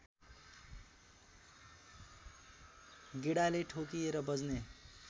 गेडाले ठोकिएर बज्ने